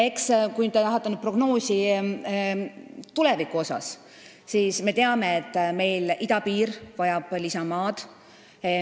Kui te tahate nüüd prognoosi tuleviku kohta, siis me teame, et idapiiri väljaehitamine vajab lisamaad.